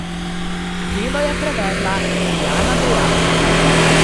Delo je prevedla Lijana Dejak.